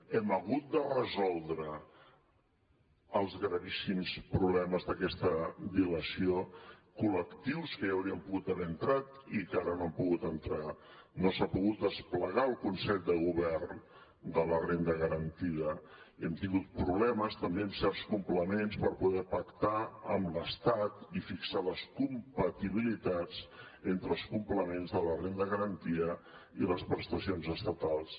hem hagut de resoldre els gravíssims problemes d’aquesta dilació col·lectius que hi podrien haver entrat i que no ara hi han pogut entrar no s’ha pogut desplegar el consell de govern de la renda garantida hem tingut problemes també amb certs complements per poder pactar amb l’estat i fixar les compatibilitats entre els complements de la renda garantida i les prestacions estatals